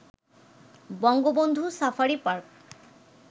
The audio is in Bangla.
Bangabandhu safari park